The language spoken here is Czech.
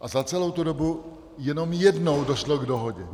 A za celou tu dobu jenom jednou došlo k dohodě.